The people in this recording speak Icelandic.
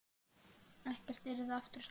Ekkert yrði aftur samt.